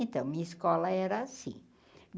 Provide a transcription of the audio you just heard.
Então, minha escola era assim.